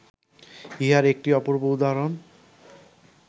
ইহার একটি অপূর্ব উদাহরণ